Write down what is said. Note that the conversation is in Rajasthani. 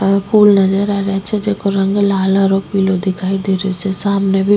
आ फूल नजर आ रेहा छे जेको रंग लाल हरो पीलो दिखाई देरो छे सामने भी --